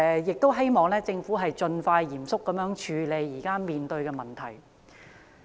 就此，我希望政府盡快嚴肅處理前述的問題。